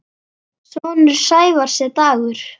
Sonur Sævars er Dagur.